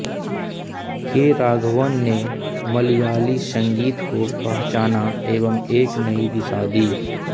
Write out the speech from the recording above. के राघवन ने मलयाली संगीत को पहचाना एवं एक नई दिशा दी